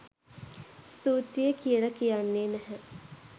ස්තුතියි කියල කියන්නේ නැහැ.